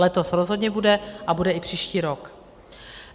Letos rozhodně bude a bude i příští rok.